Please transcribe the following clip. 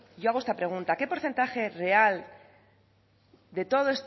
yo hago esta pregunta qué porcentaje real de toda